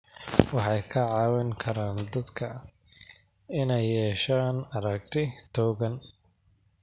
Waxay ka caawin karaan dadka inay yeeshaan aragti togan.